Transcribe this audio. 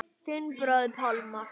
Þinn bróðir Pálmar.